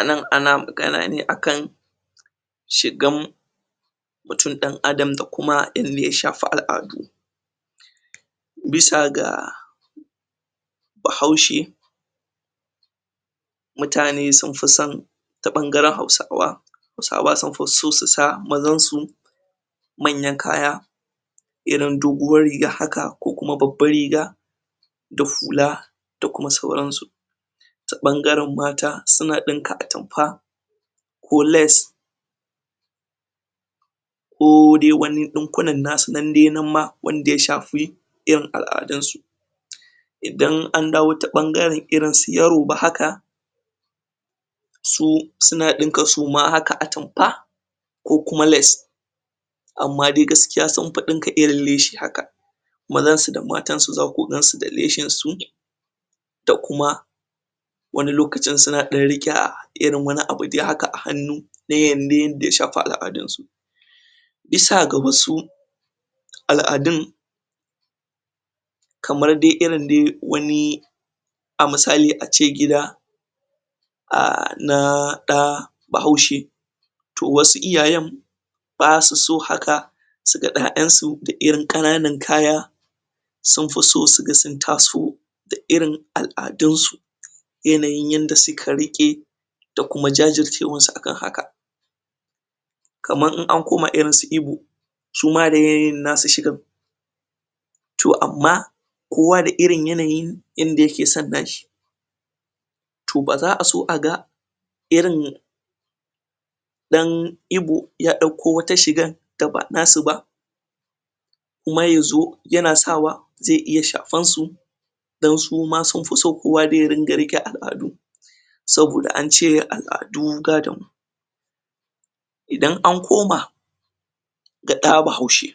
anan ana magana ne akan shigan mutum dan adam da kuma yadda ya shafi al'adu? bisa ga bahaushe mutane sun fison ta bangaren hausawa huasawa sun fi so su sa mazansu manyan kaya irin dogon riga haka ko kuma babban riga da hula da kuma suaransu ta bangaren mata suna dinnka atamfa ko lace ko dai wani dinkunan nasu nan ma wanda ya shafi irin al'adunsu? idan an dawo ta bangaren irinsu yoruba haka su suna dinka su ma haka atamfa ko kuma lace amman dai gaskiya sun fi dinka irin leshi haka mazansu da matansu zaka gansu da leshinsu da kuma wani lokacin suna dan rika irin wani abu dai haka a hannu dayan dai da yashafi al'adunsu bisa ga wasu al'adun kamar dai irin dai wani a misali ace gida a um naa daa bahaushe to wasu iyayen basu so haka suga yayansu da irin kananun kaya sunfi so suga sun taso da irin al'adunsu? yanayin yadda suka rike da kuma jajircewansu akan haka kamar in an koma irinsu igbo suma da yanayin nasu shigan to amma kowa da irin yanayin inda yakeson nashi to baza a so aga irin dan ibo ya dauko wata shigan da ba nasu ba kuma yazo yana sa wa zai iya shafansu don suma sunfi so kowa dai ya ringa rike al'adu saboda ance al'adu gadon idan an koma da da bahaushe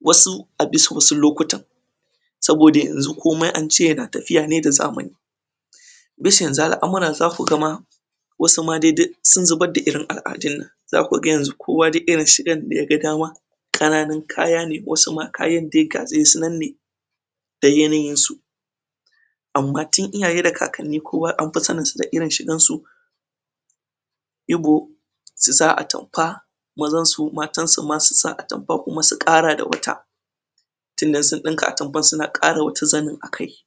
wasu a bisa wasu lokutan saboda yanxu komai ance yana tafiyane da zamani bisa yanxu al'amuran zaku ga ma wasu ma dai duk sun zubar da irin al'adun nan zaku ga yanxu kowa duk irinshigan daga dama kananun kaya ne wasu ma kayan daiga dai sunan ne da yanayin su amman tun iyaye da kakanni kuma anfi saninsu da irin shigansu ibo su sa atamfa mazan su matansu ma su sa atamfa kuma su kara da wata tun da in sun dinka atamfan suna kara wata zanin akai